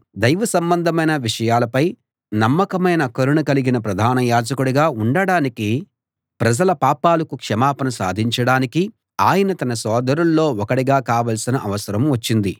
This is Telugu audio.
దైవ సంబంధమైన విషయాలపై నమ్మకమైన కరుణ కలిగిన ప్రధాన యాజకుడిగా ఉండడానికీ ప్రజల పాపాలకు క్షమాపణ సాధించడానికీ ఆయన తన సోదరుల్లో ఒకడిగా కావాల్సిన అవసరం వచ్చింది